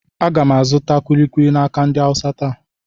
Aga m azụ kuli kuli n'aka ndị Awụsa taa.